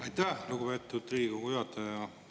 Aitäh, lugupeetud Riigikogu juhataja!